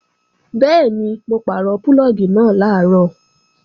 Bẹ́ẹ̀ni, mo pàrọ̀ púlọ̀gì náà làárọ̀